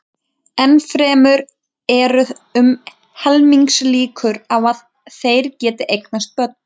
Enn fremur eru um helmingslíkur á að þeir geti eignast börn.